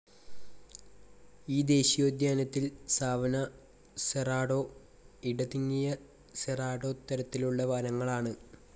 ഈ ദേശീയോദ്യാനത്തിൽ savanna, cerrado, ഇടതിങ്ങിയ സെറാഡോ തരങ്ങളിലുള്ള വനങ്ങളാണ്.